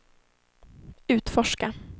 utforska